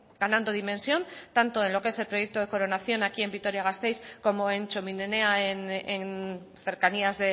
ganando dimensión tanto en lo que es proyecto de coronación aquí en vitoria gasteiz como en txomin enea en cercanías